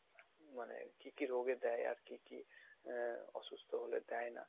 মানে কি কি রোগে দেয় আর কি কি আ~ অসুস্থ হলে দেয় না